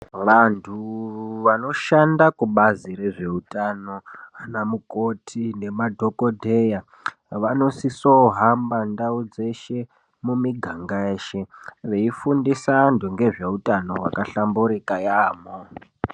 Vantu vanoshanda kubazi rezveutano anamukoti nemadhokodheya vanosiso kuhamba ndau dzeshe mumiganga yeshe veifundisa anhu ngezveutano hwakahlamburika yaamho.